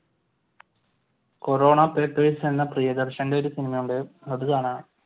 Corona Papers എന്ന പ്രിയദർശന്റെ ഒരു സിനിമയുണ്ട് അത് കാണുകയാ.